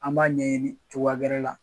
An b'a ɲɛɲini cogoya gɛrɛ la